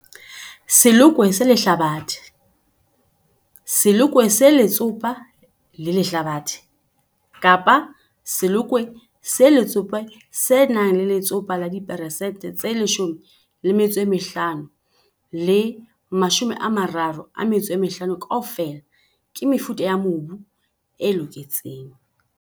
Selokwe se lehlabathe, selokwe se letsopa le lehlabathe kapa selokwe se letsopa se nang le letsopa la diperesente tse 15 le 35 kaofela ke mefuta ya mebu e loketseng.